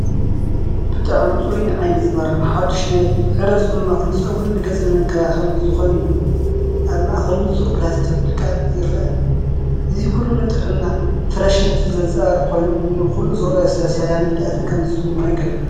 ብጣዕሚ ጽሩይን ዓይኒ ዝማርኽን ሓዱሽ ናይ ዕረ ፅሟቕ ንፀጉርን ንገፅ መንከባኸብን ዝኾን እዩ፣ ኣብ ማእከል ንጹር ፕላስቲክ ብልቓጥ ይርአ፣ እዚ ኩሉ ንጥዕናን ፍረሽነትን ዘንጸባርቕ ኮይኑ፡ ንኹሉ ዝረኣዮ ሰብ ሰላምን ህድኣትን ከም ዝስምዖ ይገብር!